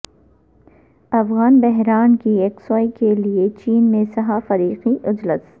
افغان بحران کی یکسوئی کیلئے چین میں سہہ فریقی اجلاس